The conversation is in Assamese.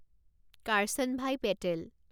কাৰ্চানভাই পেটেল